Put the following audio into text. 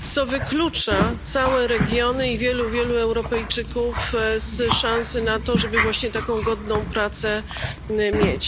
co wyklucza całe regiony i wielu, wielu Europejczyków z szansy na to, żeby właśnie taką godną pracę mieć.